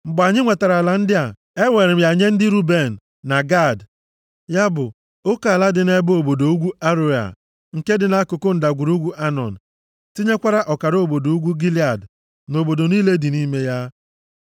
Mgbe anyị nwetara ala ndị a, eweere m ya nye ndị Ruben, na Gad, ya bụ, oke ala dị nʼebe obodo ugwu Aroea, nke dị nʼakụkụ ndagwurugwu Anọn. Tinyekwara ọkara obodo ugwu Gilead, na obodo niile dị nʼime ya.